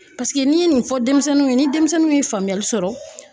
Paseke n'i ye nin fɔ denmisɛnninw ye ni denmisɛnnin ye faamuyali sɔrɔ